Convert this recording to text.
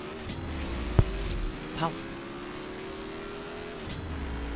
Páll: Varstu stoppaður í dag?